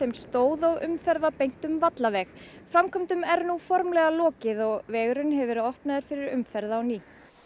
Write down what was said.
stóð og umferð var beint um framkvæmdum er nú formlega lokið og vegurinn hefur verið opnaður fyrir umferð á ný